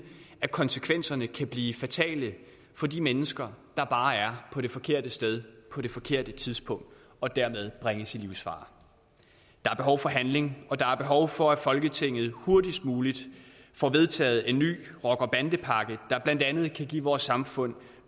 at konsekvenserne kan blive fatale for de mennesker der bare er på det forkerte sted på det forkerte tidspunkt og dermed bringes i livsfare der er behov for handling og der er behov for at folketinget hurtigst muligt får vedtaget en ny rocker bande pakke der blandt andet kan give vores samfund